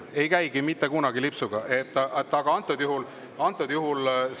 Ei käigi mitte kunagi lipsuga!